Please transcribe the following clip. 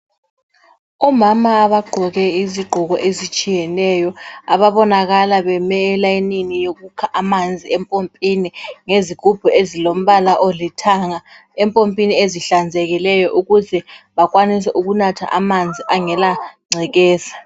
Omama bagqoke izigqoko ezitshiyeneyo, ababonakala beme elayinini yokukha amanzi empompini ngezigubhu ezilombala olithanga, empompini ezihlanzekileyo ukuze bakwanise ukunatha amanzi angela ngcekeza.